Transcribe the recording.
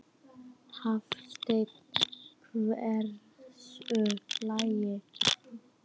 Hafsteinn: Hversu lengi?